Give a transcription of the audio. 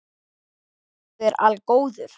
Guð er algóður